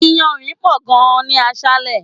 Iyanrin pò gan ni aṣále.